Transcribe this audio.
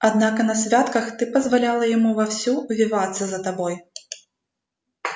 однако на святках ты позволяла ему вовсю увиваться за тобой